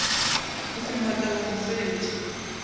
go go makala go fetša